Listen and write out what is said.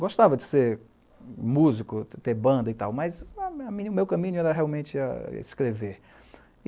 Gostava de ser músico, de ter banda e tal, mas o meu caminho era realmente escrever.